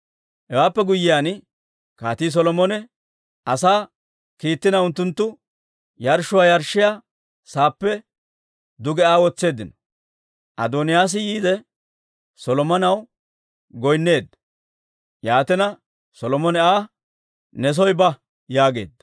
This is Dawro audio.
Hewaappe guyyiyaan Kaatii Solomone asaa kiittina, unttunttu yarshshuwaa yarshshiyaa sa'aappe duge Aa wotseeddino. Adooniyaas yiide, Solomonaw goynneedda; yaatina, Solomone Aa, «Ne soo ba» yaageedda.